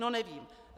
No nevím.